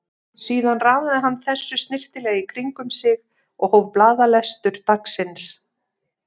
Síðan raðaði hann þessu snyrtilega í kring um sig og hóf blaðalestur dagsins.